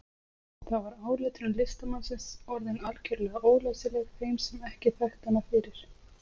Þá var áletrun listamannsins orðin algjörlega ólæsileg þeim sem ekki þekktu hana fyrir.